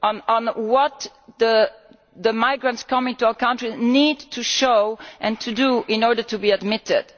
on what the migrants coming to our countries need to show and to do in order to be admitted.